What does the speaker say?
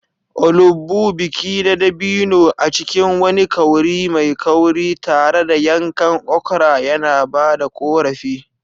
Olugbu, biki na dabino a cikin wani kauri mai kauri, tare da yankan okra yana ba da ƙorafi.